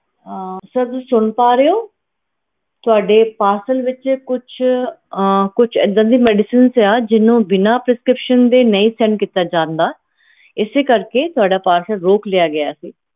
sir ਤੁਸੀਂ ਸੁਨ ਪਾ ਰਹੇ ਊ sir ਓਹਦੇ parcel ਵਿਚ ਕੁਛ ਇੱਦਾਂ ਦੀ medicines ਸਿਗੀਆਂ ਜਿਹਨੂੰ ਬਿਨਾ prescription ਦੇ ਨਹੀਂ send ਕੀਤਾ ਜਾ ਸਕਦਾ ਏ ਇਸ ਕਰਕੇ ਤੁਹਾਡਾ parcel ਰੋਕ ਲਿੱਤਾ ਗਿਆ ਸੀ